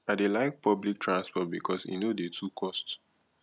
i dey like public transport because e no dey too cost